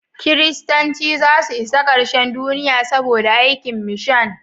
Kiristanci zasu isa karshen Duniya saboda aikin mishan.